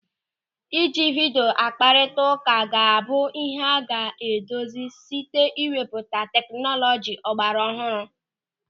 Ịji vidio akparita ụka ga-abụ ịhe a ga-edozi site ịwebata tekinọlọji ọgbaraọhụrụ.